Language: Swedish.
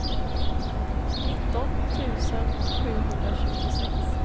nitton tusen sjuhundratjugosex